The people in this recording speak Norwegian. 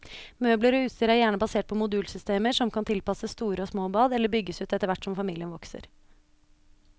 Møbler og utstyr er gjerne basert på modulsystemer, som kan tilpasses store og små bad, eller bygges ut etterhvert som familien vokser.